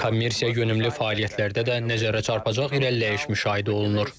Kommersiya yönümlü fəaliyyətlərdə də nəzərə çarpacaq irəliləyiş müşahidə olunur.